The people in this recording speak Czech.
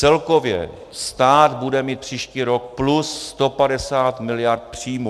Celkově stát bude mít příští rok plus 150 mld. příjmů.